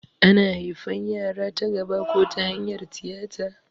Ana haifan yara ta gaba ko ta hanyar tiyata